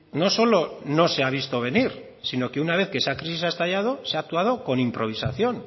no solo no se ha visto venir sino que una vez que esa crisis ha estallado se ha actuado con improvisación